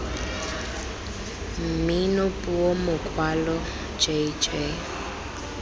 mmino puo mokwalo j j